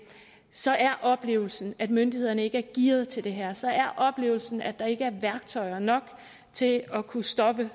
så er oplevelsen at myndighederne ikke er gearet til det her så er oplevelsen at der ikke er værktøjer nok til at kunne stoppe